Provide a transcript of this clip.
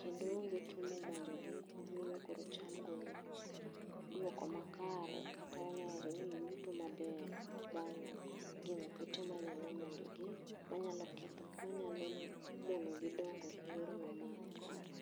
kendo onge tuo ma omonjogi miyo koro cham golo duoko makare kata wanyalo wacho ni yuto maber bang gengo kute manyalo monjogi, manyalo ketho, manyalo monogi dongo makare